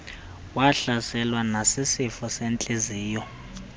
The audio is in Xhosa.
wahlaselwa nasisifo sentliziyo